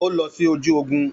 Ó lọ sí ojú ogun